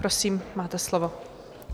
Prosím, máte slovo.